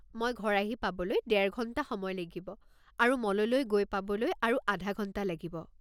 মই ঘৰ আহি পাবলৈ ডেৰ ঘণ্টা সময় লাগিব আৰু মললৈ গৈ পাবলৈ আৰু আধা ঘণ্টা লাগিব।